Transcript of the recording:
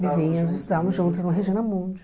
Vizinhos, estávamos juntas na Regina Mundi.